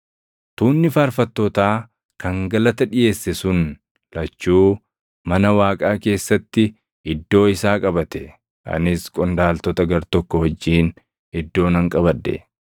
Tuunni faarfattootaa kan galata dhiʼeesse sun lachuu mana Waaqaa keessatti iddoo isaa qabate; anis qondaaltota gartokko wajjin iddoo nan qabadhe;